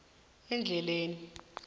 endleleni